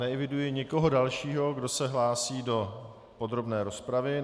Neeviduji nikoho dalšího, kdo se hlásí do podrobné rozpravy.